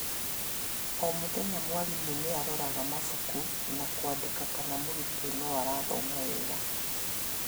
O mũthenya mwarimũ niaroraga mabuku na kwandĩka kana mũrutwo noarathoma wega